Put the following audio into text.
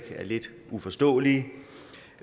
er lidt uforståelige